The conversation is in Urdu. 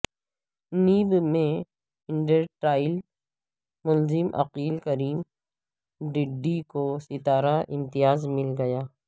نیب میں انڈرٹرائل ملزم عقیل کریم ڈھیڈی کو ستارہ امتیاز مل گیا